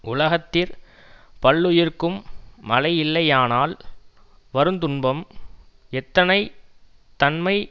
உலகத்திற் பல்லுயிர்க்கும் மழையில்லையானால் வருந்துன்பம் எத்தனை தன்மை